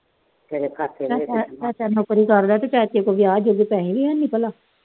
ਤੇਰੇ ਖਾਤੇ ਚ ਜਮਾਂ ਕਰਦਾ, ਉਹਦੇ ਚਾਚੇ ਕੋਲ ਗਿਆ ਤੇ ਉਹਦੇ ਕੋਲ ਪੈਸੇ ਨੀ ਹੈਗੇ ਭਲਾ।